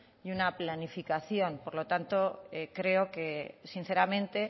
y una planificación por lo tanto creo que sinceramente